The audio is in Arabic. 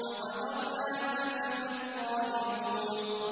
فَقَدَرْنَا فَنِعْمَ الْقَادِرُونَ